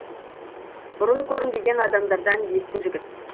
бұрын көрінбеген адамдардан есті жігіт